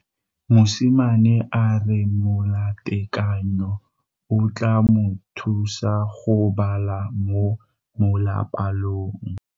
Mosimane a re molatekanyô o tla mo thusa go bala mo molapalong.